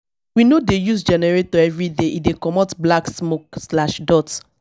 we no dey use generator everyday e dey comot black smoke.